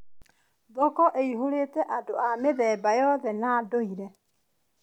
Thoko ĩihũrĩte andũ a mĩthemba yothe na ndũire.